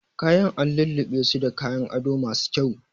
Kayan an lulluɓesu da kayan ado masu kyau